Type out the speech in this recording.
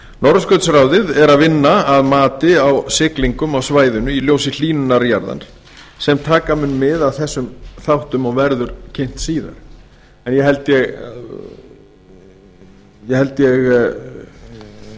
norðurskautsráðið er að vinna að mati á siglingum á svæðinu í ljósi hlýnunar jarðar sem taka mun mið af þessum þáttum og verður kynnt síðar en ég held að